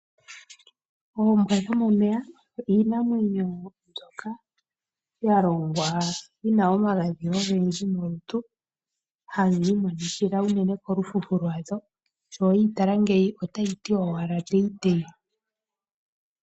Oombwa dho momeya iinamwenyo mbyoka yalongwa yina omagadhi ogendji molutu haga imonikila uunene kolufufu lwadho sho weyi tala ngeyi otayi adhima owala.